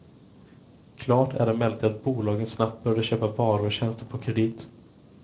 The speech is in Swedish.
Klart är emellertid att bolagen snabbt började köpa varor och tjänster på kredit.